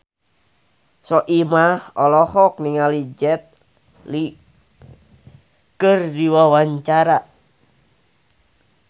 Soimah olohok ningali Jet Li keur diwawancara